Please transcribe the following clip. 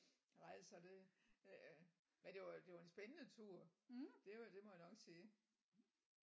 Nej så det øh men det var det var en spændende tur det må det må jeg nok sige